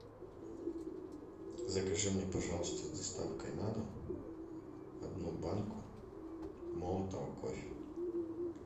закажи мне пожалуйста с доставкой на дом одну банку молотого кофе